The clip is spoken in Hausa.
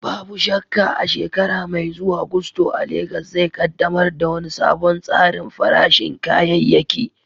Babu shakka, a shekara mai zuwa, Gusto a Legas zai ƙaddamar da wani sabon tsarin farashin kayayyaki.